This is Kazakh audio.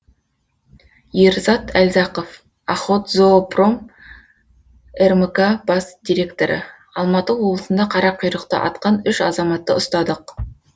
ерзат әлзақов охотзоопром рмк бас директоры алматы облысында қарақұйрықты атқан үш азаматты ұстадық